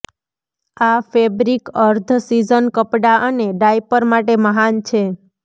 આ ફેબ્રિક અર્ધ સીઝન કપડાં અને ડાયપર માટે મહાન છે